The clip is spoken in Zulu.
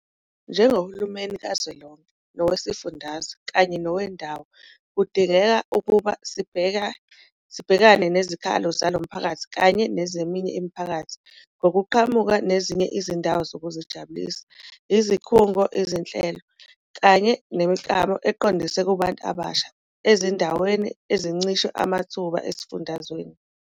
Njengohulumeni kazwelonke, nowesifundazwe kanye nowendawo kudingeka ukuba sibhekane nezikhalo zalo mphakathi kanye nezeminye imiphakathi ngokuqhamuka nezinye izindawo zokuzijabulisa, izikhungo, izinhlelo, kanye nemiklamo eqondiswe kubantu abasha ezindaweni ezincishwe amathuba esifundazweni.